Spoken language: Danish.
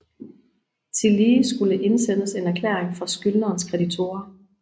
Tillige skulle indsendes en erklæring fra skyldnerens kreditorer